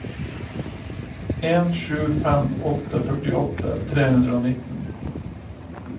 en sju fem åtte førtiåtte tre hundre og nitten